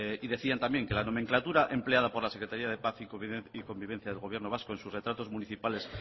y decían también que la nomenclatura empleada por la secretaria de paz y convivencia del gobierno vasco en sus retratos municipales